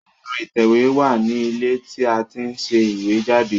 Ẹ̀rọ ìtẹ̀wé wà ní ilé tí a ti ń ṣe ìwé jáde